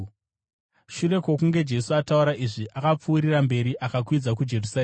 Shure kwokunge Jesu ataura izvi, akapfuurira mberi, akakwidza kuJerusarema.